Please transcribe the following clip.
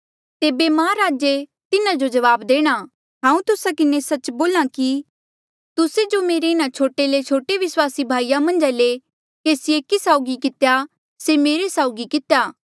तेबे तेस मां राजे तिन्हा जो जवाब देणा हांऊँ तुस्सा किन्हें सच्च बोल्हा कि तुस्से जो मेरे इन्हा छोटे ले छोटे विस्वासी भाइया मन्झा ले केसी एकी साऊगी कितेया से मेरे साउगी कितेया